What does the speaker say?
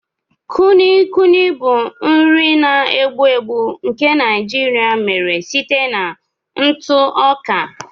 Kulikuli bụ nri na-egbu egbu nke Naijiria mere site na ntụ ọka.